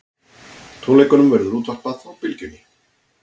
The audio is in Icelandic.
Tónleikunum verður útvarpað á Bylgjunni